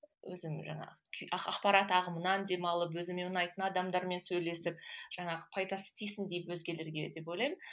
өзім жаңағы ақпарат ағымынан демалып өзіме ұнайтын адамдармен сөйлесіп жаңағы пайдасы тисін деп өзгелерге деп ойлаймын